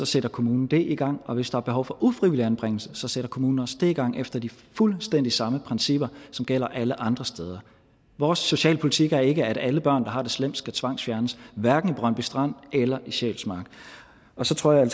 sætter kommunen det i gang og hvis der er behov for ufrivillig anbringelse så sætter kommunen også det i gang efter de fuldstændig samme principper som gælder alle andre steder vores socialpolitik er ikke at alle børn der har det slemt skal tvangsfjernes hverken i brøndby strand eller i sjælsmark så tror jeg